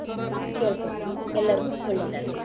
ಕೇಳ್ಕೋತಿನಿ ಎಲ್ಲರಿಗೂ ಒಳ್ಳೇದಾಗ್ಲಿ.